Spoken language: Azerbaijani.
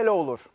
A bu belə olur.